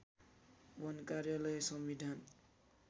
वन कार्यालय संविधान